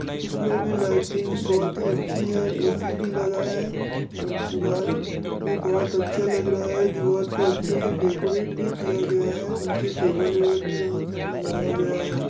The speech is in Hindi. इसमे भी लाइटिंग बहुत ही अच्छी है ए.सी भी लगा है और दीवाल भी बहुत अच्छा लग रहा है दीवाल को अच्छे से डेकोरेट भी किया गया है नीचे टेबल ऐबल भी लगा सब लगाया गया है।